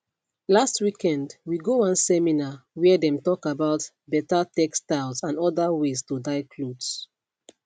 last weekend we go one seminar where them talk about better textiles and other ways to dye clothes